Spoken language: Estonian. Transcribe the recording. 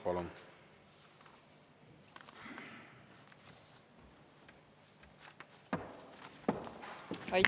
Palun!